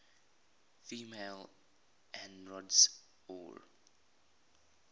female androids or